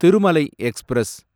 Thirumalai express